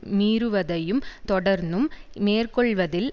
மீறுவதையும் தொடர்ந்தும் மேற்கொள்வதில்